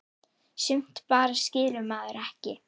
Sumt bara skilur maður ekki.